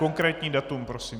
Konkrétní datum prosím.